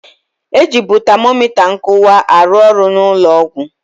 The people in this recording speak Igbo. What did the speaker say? E jịbụ tamomita nkụwa arụ ọrụ na ụnọ ọgwụ.